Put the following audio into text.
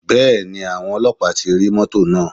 Bẹ́ẹ̀ni, àwọn Ọlọ́pàá ti rí mọ́tọ̀ náà.